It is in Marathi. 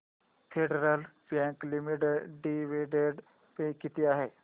federal Bank Limited dividend pay किती आहे